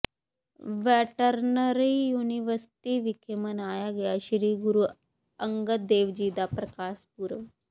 veterinary university ਵਿਖੇ ਮਨਾਇਆ ਗਿਆ ਸ੍ਰੀ ਗੁਰੂ ਅੰਗਦ ਦੇਵ ਜੀ ਦਾ ਪ੍ਰਕਾਸ਼ ਪੁਰਬ